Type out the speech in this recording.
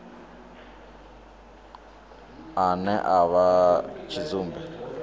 ane a vha tshidzumbe a